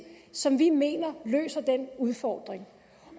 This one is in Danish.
som vi mener løser den udfordring